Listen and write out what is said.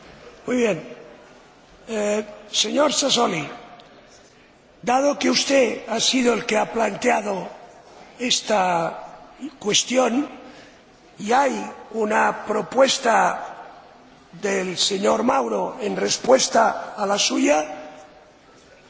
Señor Sassoli, dado que usted ha sido el que ha planteado esta cuestión y hay una propuesta del señor Mauro en respuesta a la suya, ¿quiere usted tomar la palabra para